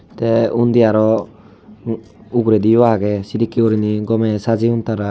te undi aro uguredi yo age sidekki urinay gome sajeyon tara.